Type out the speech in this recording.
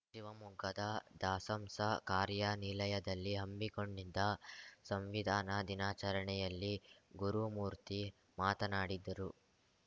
ಶಿವಮೊಗ್ಗದ ದಸಂಸ ಕಾರ್ಯಾನಿಲಯದಲ್ಲಿ ಹಮ್ಮಿಕೊಂಡಿದ್ದ ಸಂವಿಧಾನ ದಿನಾಚರಣೆಯಲ್ಲಿ ಗುರುಮೂರ್ತಿ ಮಾತನಾಡಿದರು